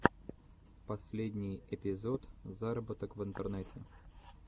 последний эпизод заработок в интернете